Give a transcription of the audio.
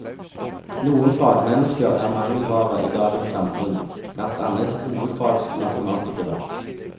Noen fagmennesker er mangelvare i dagens samfunn, blant annet hovedfagsmatematikere.